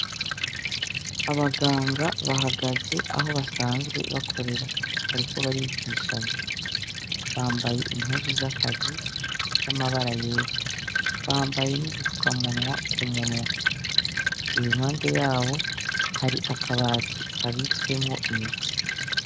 Abaganga bahagaze aho basanzwe bakorera bariko barigishanya bambaye impuzu z'akazi z'amabara yera bambaye n'udupfuka munwa ku munwa imihande yabo hari akabati kabitswemwo imiti.